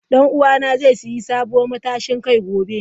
Dan uwana zai sayi sabuwar matashin kai gobe.